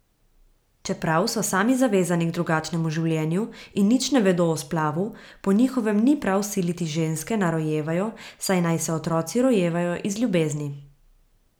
Čeprav so sami zavezani k drugačnemu življenju in nič ne vedo o splavu, po njihovem ni prav siliti ženske, naj rojevajo, saj naj se otroci rojevajo iz ljubezni.